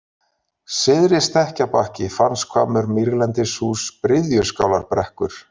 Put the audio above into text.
Syðri-Stekkjarbakki, Fanshvammur, Mýrlendishús, Bryðjuskálarbrekkur